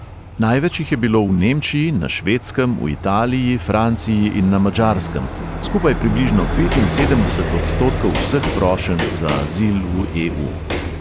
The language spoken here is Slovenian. Največ jih je bilo v nemčiji, na švedskem, v italiji, franciji in na madžarskem, skupaj približno petinsedemdeset odstotkov vseh prošenj za azil v e|u.